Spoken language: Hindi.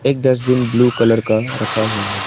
एक डस्टबिन ब्लू कलर का रखा हुआ है।